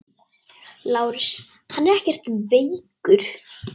LÁRUS: Hann er ekkert veikur.